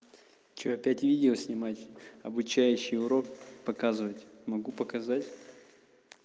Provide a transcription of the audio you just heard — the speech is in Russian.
что опять видео снимать обучающий урок показывать могу показать